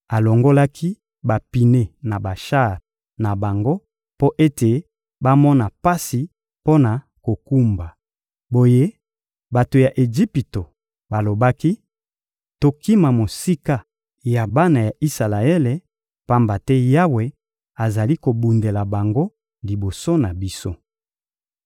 Alongolaki bapine na bashar na bango mpo ete bamona pasi mpo na kokumba. Boye bato ya Ejipito balobaki: — Tokima mosika ya bana ya Isalaele, pamba te Yawe azali kobundela bango liboso na biso.